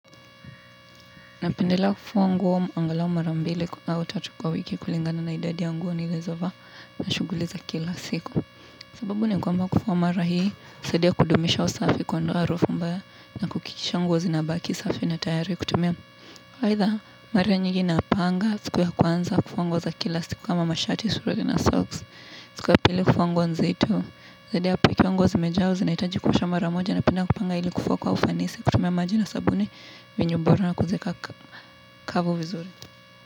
Napendelea kufua nguo angalau mara mbili au tatu kwa wiki kulingana na idadi ya nguo nilizo vaa na shuguliza kila siku. Sababu ni kwamba kufua mara hii, husadia kudumisha usafi kuondoa harufu mbaya na kuhakikiisha nguo zinabaki safi na tayari kutumia aidha, mara nyingi napanga, siku ya kwanza, kufua nguo za kila siku kama mashati suruali na socks, siku ya pili kufua nguo nzito. Zaidi pia nguo zimejaa zinahitaji kuoswha mara moja napenda kupanga ili kufua kwa ufanisi kutumia maji na sabuni vinyo bora na kuzika kavu vizuri.